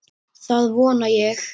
Það vona ég